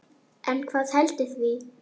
En hvað veldur því?